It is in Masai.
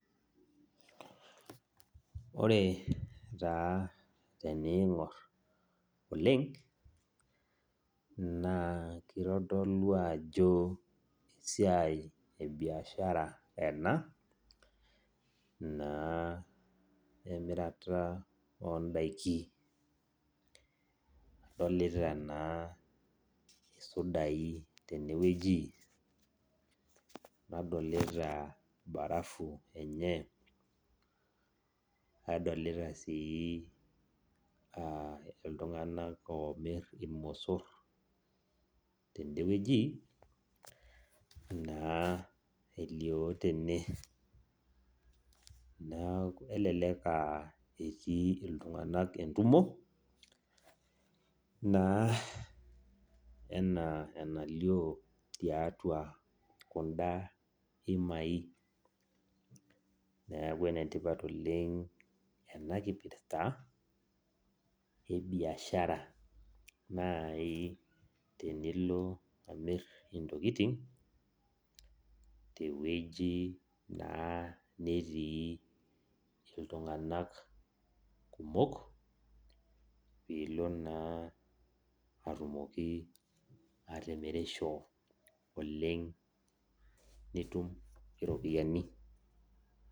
Ore taa teningor oleng na kitodolu ajo esiai ebiashara ena na emirata ondakin idolita na sudai tenewueji nadolita barafu enye nadolita si ltunganak omir irmosor tenewueji elio tene, kelelek etii ltunganak entumo na ena enalio tiatua kunda imai neaku enetipat oleng enakipirsa ebiashara nai tenilo amir ntokitin tewueji natii ltunganak kumok pilo naa atumoki atimirisho oleng nitum iropiyani.